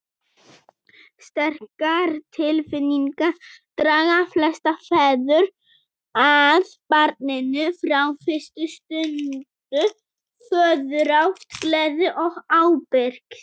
Sterkar tilfinningar draga flesta feður að barninu frá fyrstu stundu, föðurást, gleði og ábyrgð.